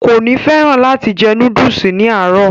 kò ní fẹ́ràn láti jẹ núdùsì ní àárọ̀